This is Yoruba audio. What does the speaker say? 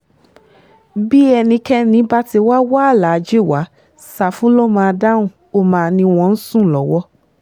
bí ẹnikẹ́ni bá ti wáá wá aláàjì wa ṣáfù ló máa dáhùn ó máa ní wọ́n ń sùn lọ́wọ́